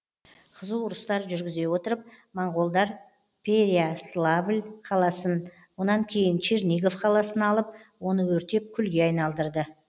қызу ұрыстар жүргізе отырып монғолдар перяславль қаласын онан кейін чернигов қаласын алып оны өртеп күлге айналдырды